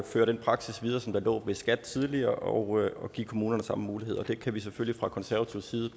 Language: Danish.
fører den praksis videre som lå ved skat tidligere og giver kommunerne samme mulighed og det kan vi selvfølgelig fra konservativ side